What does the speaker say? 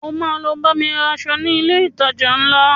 O ma lọ bámi ra aṣọ ní ilé ìtajà ńlá